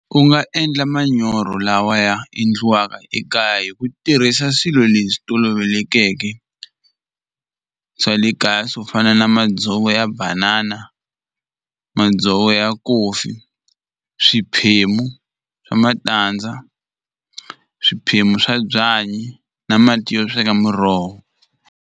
Ku nga endla manyoro lawa ya endliwaka ekaya hi ku tirhisa swilo leswi tolovelekeke swa le kaya swo fana na madzovo ya banana madzovo ya coffee swiphemu swa matandza swiphemu swa byanyi na mati yo sweka muroho.